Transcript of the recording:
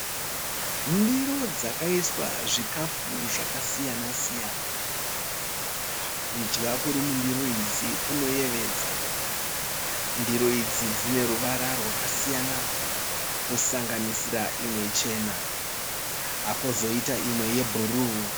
Ndiro dzakaiswa zvikafu zvaka siyana siyana. Kudya Kuri mundiro idzi kunoyevedza. Ndiro idzi dzine ruvara rwakasiyana kusanganisira imwe chena Kozoita imwe ye bhuruu.